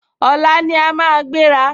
Ọ̀la ní a máa gbéra